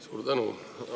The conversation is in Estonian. Suur tänu!